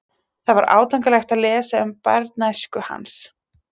Það var átakanlegt að lesa um barnæsku hans.